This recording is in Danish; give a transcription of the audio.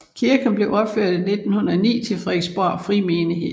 Kirken blev opført i 1909 til Frederiksborg Frimenighed